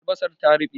Albasar ta ruɓe